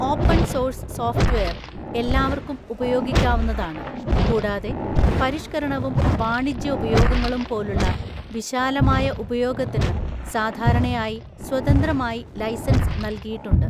Open source software എല്ലാവര്ക്കും ഉപയോഗിക്കാവുന്നതാണ് കൂടാതെ പരിഷ്‌ക്കരണവും വാണിജ്യ ഉപയോഗങ്ങളും പോലുള്ള വിശാലമായ ഉപയോഗത്തിന് സാധാരണയായി സ്വതന്ത്രമായി ലൈസൻസ് നൽകിയിട്ടുണ്ട്.